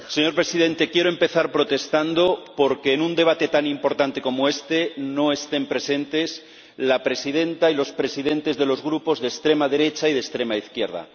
Señor Presidente, quiero empezar protestando por que en un debate tan importante como este no estén presentes la presidenta y los presidentes de los grupos de extrema derecha y de extrema izquierda.